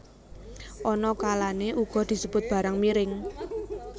Ana kalané uga disebut barang miring